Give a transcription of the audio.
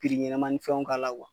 Piri ɲɛnama ni fɛnw k'a la